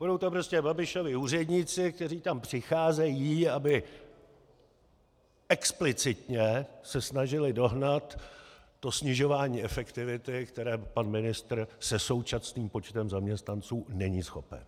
Budou to prostě Babišovi úředníci, kteří tam přicházejí, aby explicitně se snažili dohnat to snižování efektivity, které pan ministr se současným počtem zaměstnanců není schopen.